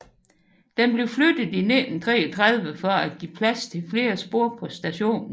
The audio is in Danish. Den blev flyttet i 1933 for at give plads til flere spor på stationen